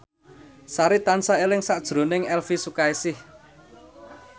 Sari tansah eling sakjroning Elvi Sukaesih